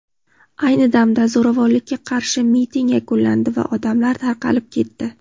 Ayni damda zo‘ravonlikka qarshi miting yakunlandi va odamlar tarqalib ketdi.